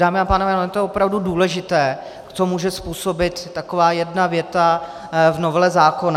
Dámy a pánové, ono je to opravdu důležité, co může způsobit taková jedna věta v novele zákona.